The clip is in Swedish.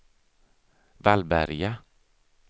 Vallberga